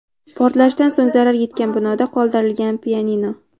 Portlashdan so‘ng zarar yetgan binoda qoldirilgan pianino.